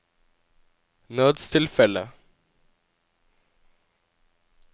nødstilfelle